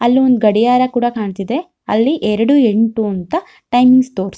ಅಲ್ಲಿ ಒಂದು ಗಡಿಯಾರ ಕೂಡ ಕಾಣತ್ತಿದೆ ಅಲ್ಲಿ ಎರಡು ಎಂಟು ಅಂತ ಟೈಮಿಂಗ್ ತೋರ್ಸತ್ತಿ --